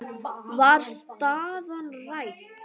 Var staðan rædd?